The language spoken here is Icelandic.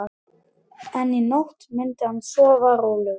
En í nótt myndi hann sofa rólegur.